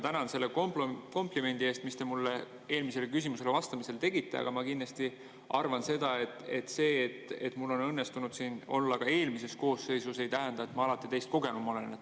Kõigepealt ma tänan selle komplimendi eest, mis te mulle eelmisele küsimusele vastamisel tegite, aga ma kindlasti arvan seda, et see, et mul õnnestus siin olla ka eelmises koosseisus, ei tähenda, et ma alati teist kogenum olen.